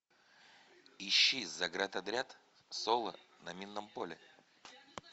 ищи заградотряд соло на минном поле